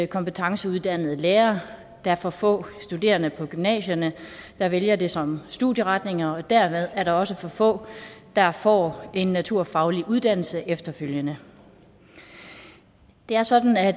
kompetenceuddannede lærere der er for få studerende på gymnasierne der vælger det som studieretning og dermed er der også for få der får en naturfaglig uddannelse efterfølgende det er sådan at